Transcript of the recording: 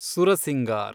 Sursingar